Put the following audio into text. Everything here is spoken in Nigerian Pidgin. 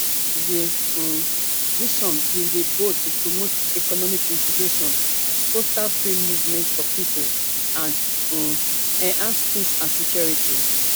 di um vision bin dey bold to promote economic integration foster free movement of pipo and um enhance peace and security